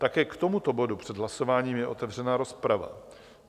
Také k tomuto bodu před hlasováním je otevřena rozprava.